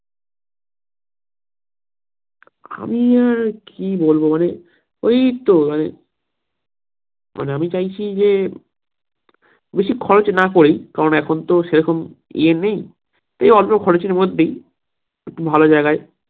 আমি আর কি বলবো মানে ওই তো মানে মানে আমি চাইছি যে বেশি খরচ না করেই কারণ এখনতো সেরকম এ নেই তাই অল্প খরচের মধ্যেই একটু ভালো জায়গায়